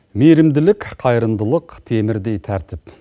мейірімділік қайырымдалық темірдей тәртіп